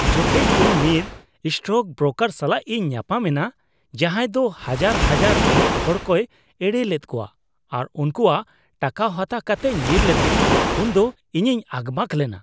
ᱡᱚᱠᱷᱮᱡ ᱤᱧ ᱢᱤᱫ ᱥᱴᱚᱠᱵᱨᱳᱠᱟᱨ ᱥᱟᱞᱟᱜ ᱤᱧ ᱧᱟᱯᱟᱢᱮᱱᱟ ᱡᱟᱡᱟᱸᱭ ᱫᱳ ᱦᱟᱡᱟᱨ ᱦᱟᱡᱟᱨ ᱨᱮᱸᱜᱮᱡ ᱦᱚᱲᱠᱚᱭ ᱮᱲᱮ ᱞᱮᱫ ᱠᱚᱣᱟ ᱟᱨ ᱩᱱᱠᱩᱣᱟᱜ ᱴᱟᱠᱟ ᱦᱟᱛᱟᱣ ᱠᱟᱛᱮᱭ ᱧᱤᱨᱞᱮᱫᱟ, ᱩᱱᱫᱚ ᱤᱧᱤᱧ ᱟᱠᱵᱟᱠ ᱞᱮᱱᱟ ᱾